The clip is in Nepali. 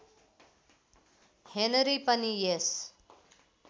हेनरी पनि यस